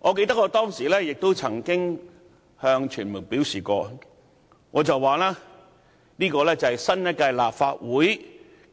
我記得我當時曾向傳媒表示，這是新一屆立法會